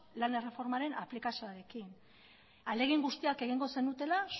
lan erreformaren aplikazioarekin ahalegin guztiak egingo zenutela